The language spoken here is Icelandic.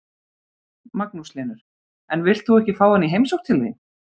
Magnús Hlynur: En villt þú ekki fá hann í heimsókn til þín?